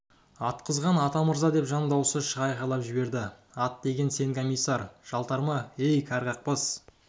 атқызған атамырза деп жан дауысы шыға айқайлап жіберді ат деген сен комиссар жалтарма ей кәрі қақбас